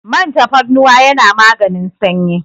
Man tafarnuwa yana maganin sanyi.